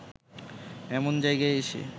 এমন জায়গায় এসে